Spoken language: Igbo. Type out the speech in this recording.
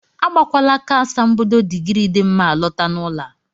Agbakwala aka asambodo digrii dị mma alọta n'ụlọ a!